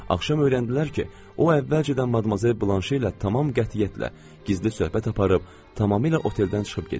Axşam öyrəndilər ki, o əvvəlcədən madmazel Blanşe ilə tamam qətiyyətlə gizli söhbət aparıb, tamamilə oteldən çıxıb gedib.